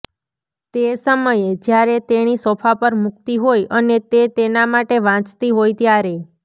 તે સમયે જ્યારે તેણી સોફા પર મૂકતી હોય અને તે તેના માટે વાંચતી હોય ત્યારે